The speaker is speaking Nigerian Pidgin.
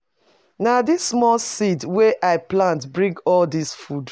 Na dis small seed wey I plant bring all dis food.